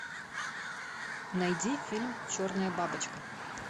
найди фильм черная бабочка